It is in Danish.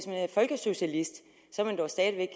man er folkesocialist er man dog stadig